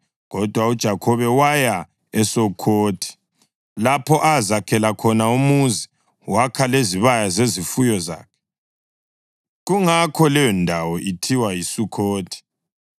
Kodwa uJakhobe waya eSukhothi lapho azakhela khona umuzi wakha lezibaya zezifuyo zakhe. Kungakho leyondawo ithiwa yiSukhothi.